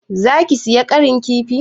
Za ki saya ƙarin kifi?